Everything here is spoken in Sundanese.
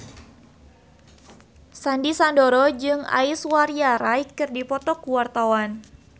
Sandy Sandoro jeung Aishwarya Rai keur dipoto ku wartawan